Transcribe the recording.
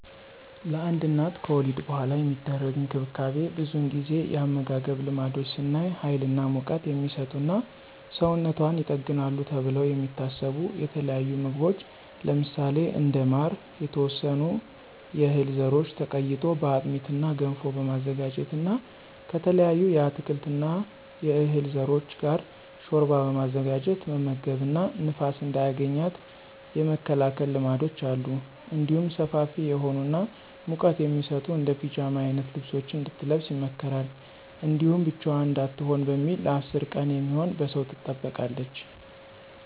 ለአንድ እናት ከወሊድ በኃላ የሚደረግ እንክብካቤ ብዙውን ጊዜ የአመጋገብ ልማዶች ስናይ ሀይል እና ሙቀት" የሚሰጡ እና ሰውነቷን ይጠግናሉ ተብለው የሚታሰቡ የተለያዩ ምግቦች ለምሳሌ እንደ ማር፣ የተወሰኑ የህል ዘሮች ተቀይጦ በአጥሚት እና ገንፎ በማዘጋጀት እና ከተለያዩ የአትክልት እና የዕህል ዘሮች ጋር ሾርባ በማዘጋጀት መመገብ እና ንፋስ እንዳያገኛት የመከላከል ልማዶች አሉ። እንዲሁም ሰፋፊ የሆኑ እና ሙቀት የሚሰጡ እንደ ፒጃማ አይነት ልብሶችን እንድትለብስ ይመከራል። እንዲሁም ብቻዋን እንዳትሆን በሚል ለ10 ቀን የሚሆን በሰው ትጠበቃለች።